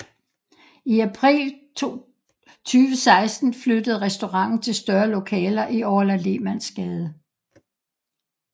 I april 2016 flyttede restauranten til større lokaler i Orla Lehmannsgade